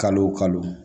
Kalo o kalo